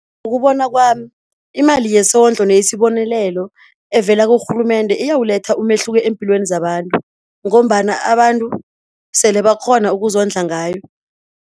Ngokubona kwami imali yesondlo neyesibonelelo evela kurhulumende, iyawuletha umehluko empilweni zabantu, ngombana abantu sele bakghona ukuzondla ngayo.